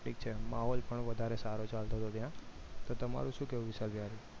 માહોલ પણ સારો ચાલતું હતું ત્યાં તો તમારું શું કહેવું છે વિશાલભાઈ